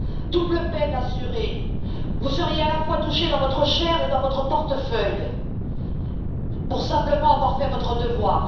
Double peine assurée, vous seriez à la fois touché dans votre chair et dans votre portefeuille, simplement pour avoir fait votre devoir.